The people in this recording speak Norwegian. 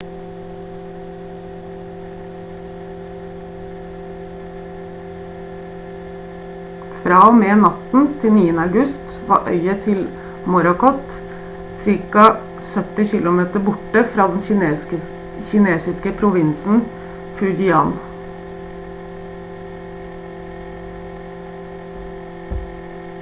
fra og med natten til 9. august var øyet til morakot ca 70 km borte fra den kinesiske provinsen fujian